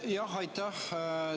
Jah, aitäh!